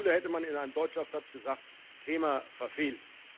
In der Schule hätte man in einem Deutschaufsatz gesagt Thema verfehlt.